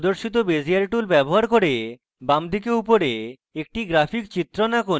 প্রদর্শিত bezier tool ব্যবহার করে বাম দিকে উপরে একটি graphic চিত্রণ আঁকুন